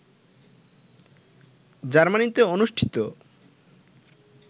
জার্মানিতে অনুষ্ঠিত